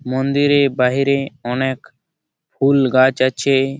মন্দিরের বাহিরে অনেক ফুল গাছ আছে।